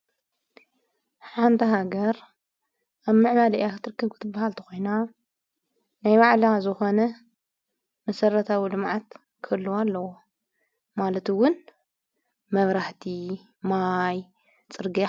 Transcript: ሓንታ ሃገር ኣብ ምዕባለ እያ ኽትርከጕትበሃልተ ኾይና ናይ ባዕላ ዘኾነ ምሠረታዊ ድማዓት ክልዋ ኣለዎ ማለቱውን መብራህቲ ማይ ጽርግያ ::